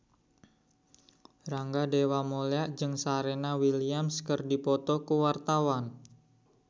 Rangga Dewamoela jeung Serena Williams keur dipoto ku wartawan